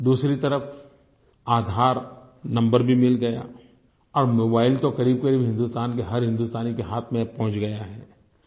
दूसरी तरफ आधार नंबर भी मिल गया और मोबाइल तो क़रीबक़रीब हिन्दुस्तान के हर हिन्दुस्तानी के हाथ में पहुँच गया है